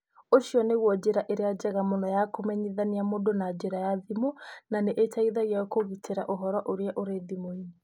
Ũcio nĩguo njĩra ĩrĩa njega mũno ya kũmenyithania mũndũ na njĩra ya thimũ na nĩ ĩteithagia kũgitĩra ũhoro ũrĩa ũrĩ thimũ-inĩ.